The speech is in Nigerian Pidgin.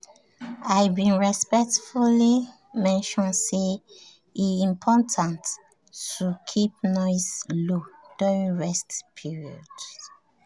i been respectfully mention say e important to keep noise low during rest periods.